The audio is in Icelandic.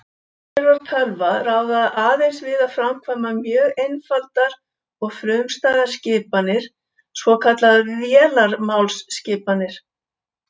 Örgjörvar tölva ráða aðeins við að framkvæma mjög einfaldar og frumstæðar skipanir, svokallaðar vélarmálsskipanir.